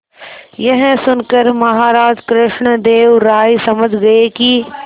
यह सुनकर महाराज कृष्णदेव राय समझ गए कि